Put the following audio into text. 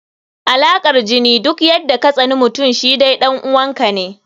Alaƙar jini, duk yadda katsaninmutum shi dai ɗan uwa ka ne.